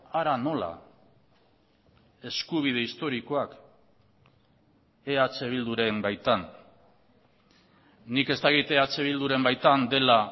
hara nola eskubide historikoak eh bilduren baitan nik ez dakit eh bilduren baitan dela